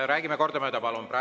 Räägime kordamööda, palun!